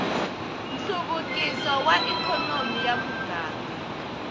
nhluvukiso wa ikhonomi ya muganga